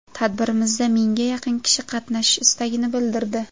Tadbirimizda mingga yaqin kishi qatnashish istagini bildirdi.